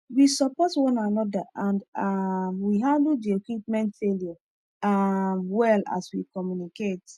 we support one another and um we handle the equipment failure um well as we communicate